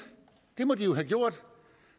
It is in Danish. det må de jo have gjort